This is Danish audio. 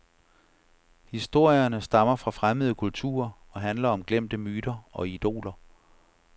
Historierne stammer fra fremmede kulturer og handler om glemte myter og idoler.